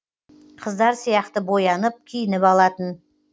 қыздар сияқты боянып киініп алатын